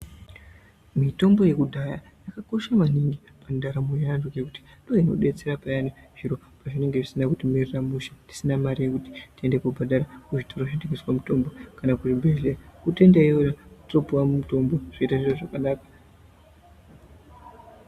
Mitombo yekudhaya yakakosha maningi mundaramo yevantu ngekuti imweni inodetsera Payani zviro pazvinenge zvisina kumira mushe tisina mare yekuti tiende kobhadhara muzvitoro zvedu kwavzinotengeawa mitombo kana kuzvibhedhlera totoenda iyoyo totopuwa mitombo zviro zvoita zvakanaka.